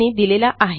यांनी दिलेला आहे